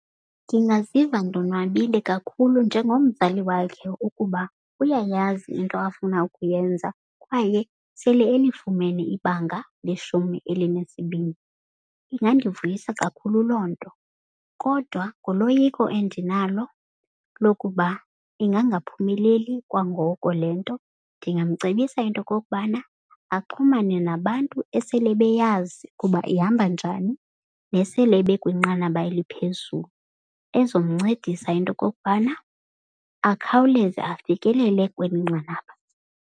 Ndingaziva ndonwabile kakhulu njengomzali wakhe ukuba uyayazi into afuna ukuyenza kwaye sele elifumene ibanga leshumi elinesibini. Ingandivuyisa kakhulu loo nto kodwa nguloyiko endinalo lokuba ingangaphumeleli kwangoko le nto. Ndingamcebisa into kokubana axhumane nabantu esele beyazi kuba ihamba njani nesele bekwinqanaba eliphezulu. Ezomncedisa into kokubana akhawuleze afikelele kweli nqanaba.